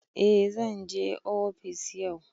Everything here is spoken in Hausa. A zanje ofis yau